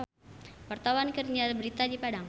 Wartawan keur nyiar berita di Padang